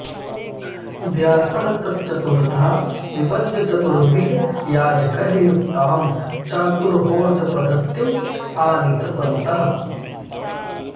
व्यासः तत् चतुर्धा विभज्य चतुर्भिः याजकैः युक्तां चातुर्होत्रपद्धतिम् आनीतवन्तः